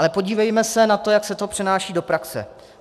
Ale podívejme se na to, jak se to přenáší do praxe.